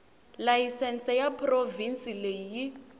layisense ya provhinsi leyi yi